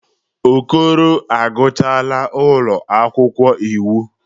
Okoro agụchaala n'ụlọ akwụkwọ iwu.